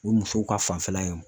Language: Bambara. O ye musow ka fanfɛla ye